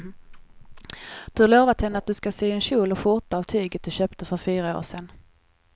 Du har lovat henne att du ska sy en kjol och skjorta av tyget du köpte för fyra år sedan.